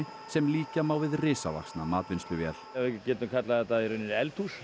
sem líkja má við risavaxna matvinnsluvél við getum kallað þetta eldhús